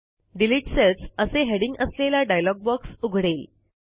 delete cells असे heading असलेला dialog box उघडेल